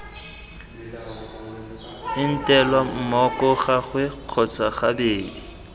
entelwa mmoko gangwe kgotsa gabedi